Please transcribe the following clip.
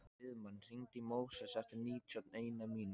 Friðmann, hringdu í Móses eftir níutíu og eina mínútur.